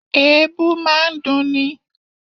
Èébú máa ń dunni